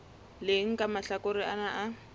leng la mahlakore ana a